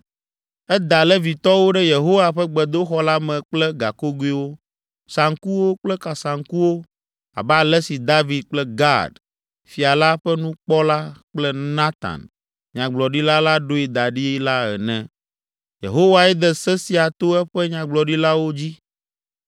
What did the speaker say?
Eda Levitɔwo ɖe Yehowa ƒe gbedoxɔ la me kple gakogoewo, saŋkuwo kple kasaŋkuwo abe ale si David kple Gad, fia la ƒe nukpɔla kple Natan, nyagblɔɖila la ɖoe da ɖi la ene. Yehowae de se sia to eƒe nyagblɔɖilawo dzi.